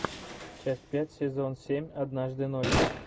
часть пять сезон семь однажды ночью